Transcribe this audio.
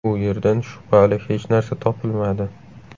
U yerdan shubhali hech narsa topilmadi.